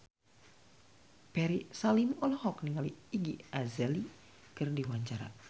Ferry Salim olohok ningali Iggy Azalea keur diwawancara